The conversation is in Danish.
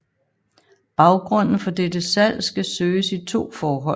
Baggrunden for dette salg skal søges i to forhold